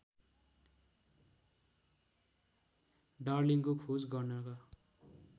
डार्लिंङको खोज गर्नका